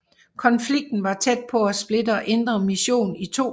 Konflikten var tæt på at splitte Indre Mission i to